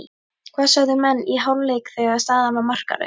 Hvað sögðu menn í hálfleik þegar staðan var markalaus?